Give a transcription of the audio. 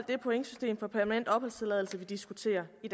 det pointsystem for permanent opholdstilladelse vi diskuterer i